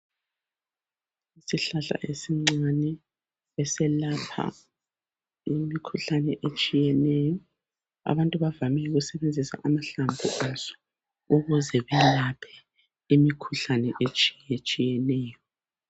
Isihlahla esincane eselapha imikhuhlane etshiyeneyo .Abantu bavamile ukusebenzisa amahlamvu aso ukuze belaphe imikhuhlane etshiyetshiyeneyo .